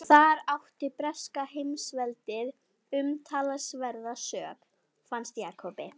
Og þar átti breska heimsveldið umtalsverða sök, fannst Jakobi.